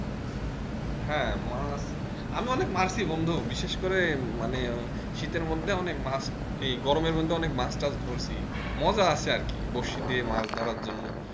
হ্যাঁ মাছ আমি অনেক মারছি বন্ধু বিশেষ করে এই মানে শীতের মধ্যে অনেক মাছ এই গরমের মধ্যে অনেক মাছ টাছ ধরছি মজা আছে আর কি বড়শি দিয়ে মাছ ধরার জন্য।